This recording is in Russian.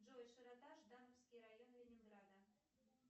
джой широта ждановский район ленинграда